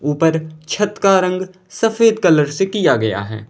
ऊपर छत का रंग सफेद कलर से किया गया है।